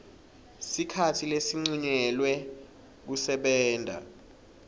sikhatsi lesincunyelwe kusebenta